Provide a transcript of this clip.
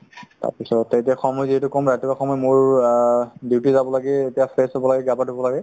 তাৰপিছত এতিয়া সময় যিহেতু কম ৰাতিপুৱা সময় মোৰ আ duty যাব লাগে এতিয়া fresh হ'ব লাগে গা পা ধুব লাগে